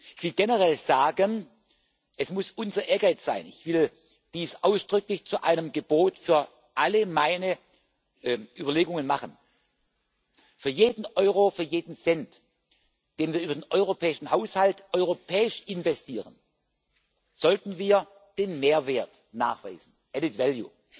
Ich will generell sagen, es muss unser Ehrgeiz sein ich will dies ausdrücklich zu einem Gebot für alle meine Überlegungen machen Für jeden Euro, für jeden Cent, den wir über den europäischen Haushalt europäisch investieren, sollten wir den Mehrwert nachweisen added value